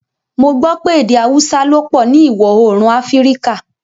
Mo gbọ̀ pẹ̀ èdè Àúsà ló pọ ni Iwọ-oorun Afíríkà